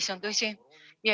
See on tõsi.